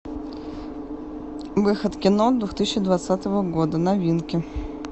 выход кино двух тысячи двадцатого года новинки